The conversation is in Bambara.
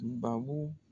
Babu